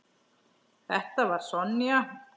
Þetta var Sonja.